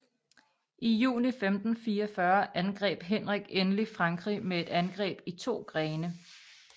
I juni 1544 angreb Henrik endelig Frankrig med et angreb i to grene